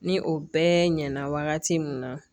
Ni o bɛɛ ɲɛna wagati min na